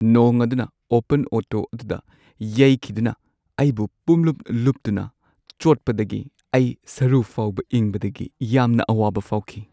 ꯅꯣꯡ ꯑꯗꯨꯅ open auto ꯑꯗꯨꯗ ꯌꯩꯈꯤꯗꯨꯅ ꯑꯩꯕꯨ ꯄꯨꯡꯂꯨꯞ-ꯂꯨꯞꯇꯨꯅ ꯆꯣꯠꯄꯗꯒꯤ ꯏꯩ ꯁꯔꯨ ꯐꯥꯎꯕ ꯏꯪꯕꯗꯒꯤ ꯌꯥꯝꯅ ꯑꯋꯥꯕ ꯐꯥꯎꯈꯤ꯫